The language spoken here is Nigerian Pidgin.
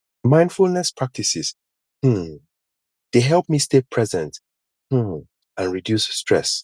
mindfulness practices um dey help me stay present um and reduce stress